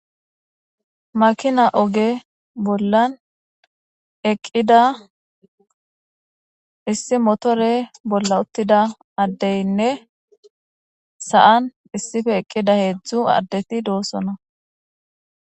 Makina oge bolla eqqida issi motore bolla uttida addaynne sa'an eqqida heedzu addeti doosona.